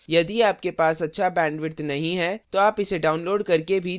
यदि आपके पास अच्छा bandwidth नहीं है तो आप इसे download करके भी देख सकते हैं